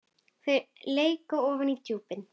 Þau leka ofan í djúpin.